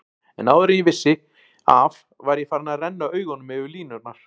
En áður en ég vissi af var ég farinn að renna augunum yfir línurnar.